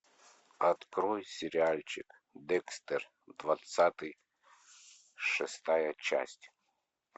открой сериальчик декстер двадцатый шестая часть